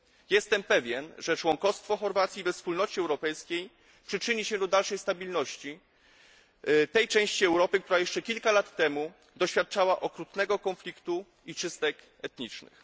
Jestem pewien, że członkostwo Chorwacji we Wspólnocie Europejskiej przyczyni się do dalszej stabilności tej części Europy, która jeszcze kilka lat temu doświadczała okrutnego konfliktu i czystek etnicznych.